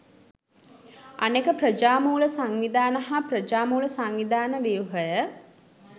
අනෙක ප්‍රජා මූල සංවිධාන හා ප්‍රජා මූල සංවිධාන ව්‍යුහය